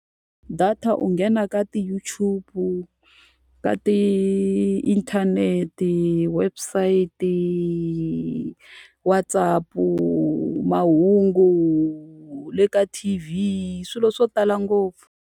Data u nghena ka ti-YouTube-u, ka tiinthanete, website, WhatsApp-u, mahungu, le ka T_V swilo swo tala ngopfu.